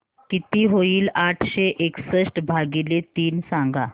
किती होईल आठशे एकसष्ट भागीले तीन सांगा